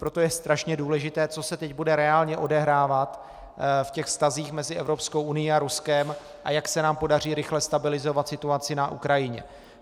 Proto je strašně důležité, co se teď bude reálně odehrávat v těch vztazích mezi Evropskou unií a Ruskem, a jak se nám podaří rychle stabilizovat situaci na Ukrajině.